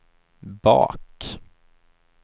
bak